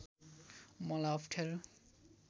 मलाई अप्ठ्यारो